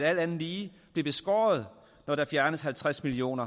andet lige blive beskåret når der fjernes halvtreds million